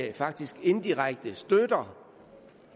er faktisk et eu direktiv